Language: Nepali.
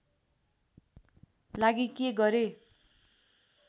लागि के गरेँ